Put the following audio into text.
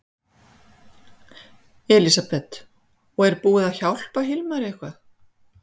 Elísabet: Og er búið að hjálpa Hilmari eitthvað?